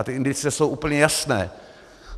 A ty indicie jsou úplně jasné.